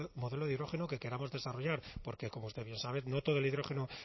modelo de hidrógeno que queramos desarrollar porque como usted bien sabe no todo el hidrógeno